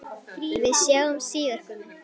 Við sjáumst síðar, Gummi.